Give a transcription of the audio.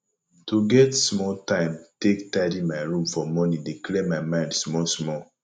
to get small time take tidy my room for morning dey clear my mind small small